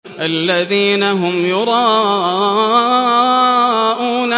الَّذِينَ هُمْ يُرَاءُونَ